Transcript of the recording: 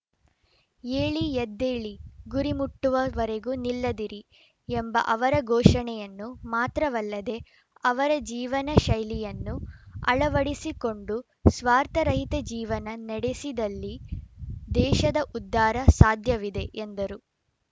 ಏಳಿ ಎದ್ದೇಳಿ ಗುರಿ ಮುಟ್ಟುವವರೆಗೂ ನಿಲ್ಲದಿರಿ ಎಂಬ ಅವರ ಘೋಷಣೆಯನ್ನು ಮಾತ್ರವಲ್ಲದೆ ಅವರ ಜೀವನಶೈಲಿಯನ್ನು ಅಳವಡಿಸಿಕೊಂಡು ಸ್ವಾರ್ಥರಹಿತ ಜೀವನ ನಡೆಸಿದಲ್ಲಿ ದೇಶದ ಉದ್ಧಾರ ಸಾಧ್ಯವಿದೆ ಎಂದರು